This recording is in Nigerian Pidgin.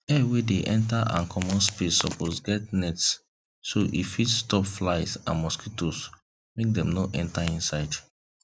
air wey dey enter and comot space suppose get net so e fit stop flies and mosquitoes make dem no enter inside